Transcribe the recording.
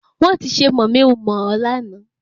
Wọn ti ṣe mọ̀mi ń mọ̀ ọ́ láàná